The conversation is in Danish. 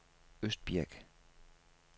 Østbirk